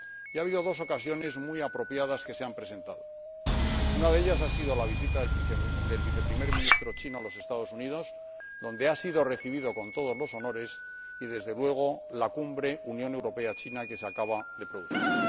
Y ha habido dos ocasiones muy apropiadas que se han presentado una de ellas ha sido la visita del Viceprimer Ministro chino a los Estados Unidos, donde ha sido recibido con todos los honores y, desde luego, la Cumbre Unión Europea China que se acaba de celebrar.